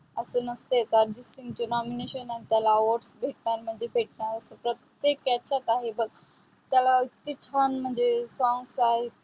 असं नसते काअजित सिंगचे nomination असताना त्याला भेटणार म्हणजे भेटणार प्रत्येक याच्यात आहे बघ. त्याला त्याचे इतके songs म्हणजे songs आहे.